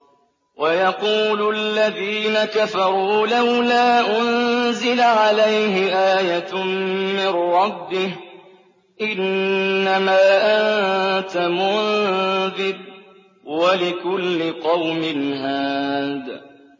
وَيَقُولُ الَّذِينَ كَفَرُوا لَوْلَا أُنزِلَ عَلَيْهِ آيَةٌ مِّن رَّبِّهِ ۗ إِنَّمَا أَنتَ مُنذِرٌ ۖ وَلِكُلِّ قَوْمٍ هَادٍ